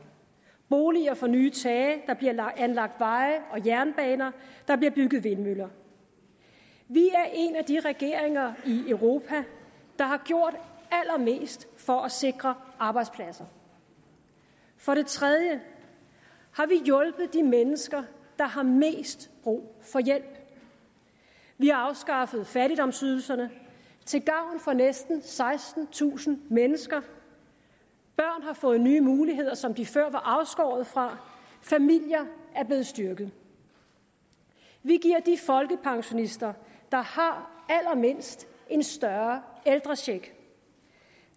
boliger får nye tage der bliver anlagt veje og jernbaner der bliver bygget vindmøller vi er en af de regeringer i europa der har gjort allermest for at sikre arbejdspladser for det tredje har vi hjulpet de mennesker der har mest brug for hjælp vi har afskaffet fattigdomsydelserne til gavn for næsten sekstentusind mennesker børn har fået nye muligheder som de før var afskåret fra familier er blevet styrket vi giver de folkepensionister der har allermindst en større ældrecheck